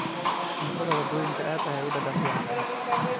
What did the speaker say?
Cuntada waddooyinku aad ayay u dhadhan fiican tahay.